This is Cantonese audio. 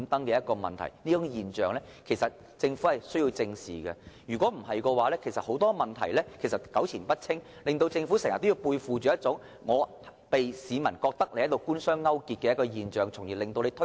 政府實有必要正視這種現象，否則問題只會糾纏不清，令政府經常背負着官商勾結之嫌，這樣只會令推動興建房屋的工作更加困難。